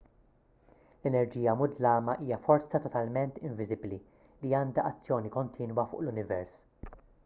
l-enerġija mudlama hija forza totalment inviżibbli li għandha azzjoni kontinwa fuq l-univers